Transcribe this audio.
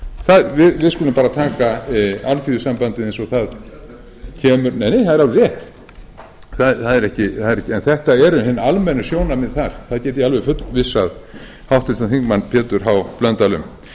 hún við skulum bara taka alþýðusambandið eins og það kemur nei nei það er alveg rétt en þetta eru hin almennu sjónarmið þar það get ég alveg fullvissað háttvirtur þingmaður pétur h blöndal um annars vegar